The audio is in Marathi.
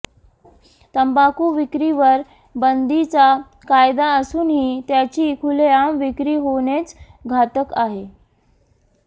तंबाखू विक्रीवर बंदीचा कायदा असूनही त्याची खुले आम विक्री होणेच घातक आहे